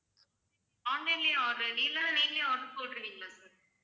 online லயே order இல்லன்னா நீங்களே போட்ருவீங்களா sir